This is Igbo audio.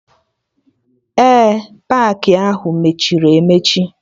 Ee, paakị ahụ mechiri emechi